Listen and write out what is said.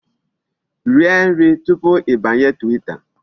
Rie nri tupu ịbanye Twitter.